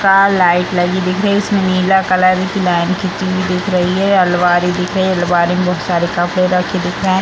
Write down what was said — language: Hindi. का लाइट लगी दिख रही है इसमे नीला कलर की लाइन खिंची हुई दिख रही है ये आलमारी दिख रही है आलमारी मे बहुत सारे कपड़े रखे दिख रहे है।